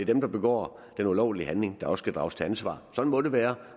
dem der begår den ulovlige handling der skal drages til ansvar sådan må det være